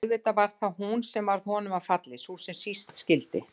Og auðvitað var það hún sem varð honum að falli, sú sem síst skyldi.